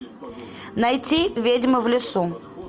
найти ведьма в лесу